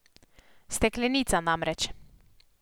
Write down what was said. Steklenica, namreč.